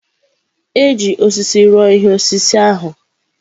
E ji osisi rụọ ihe osise ahụ.